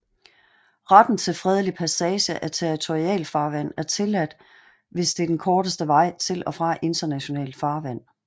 Retten til fredelig passage af territorialfarvand er tilladt hvis det er den korteste vej til og fra internationalt farvand